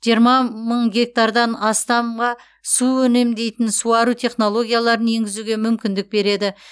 жиырма мың гектар астамға су үнемдейтін суару технологияларын енгізуге мүмкіндік береді